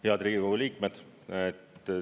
Head Riigikogu liikmed!